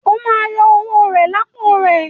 O má yọ owó rẹ lápò rẹ!